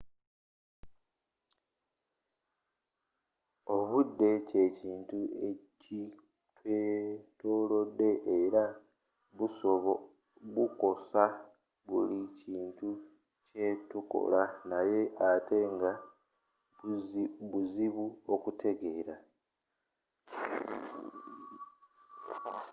obudde kyekintu ekitwetolodde era bukosa buli kimu kyetukola naye ate nga buzibu okutegeera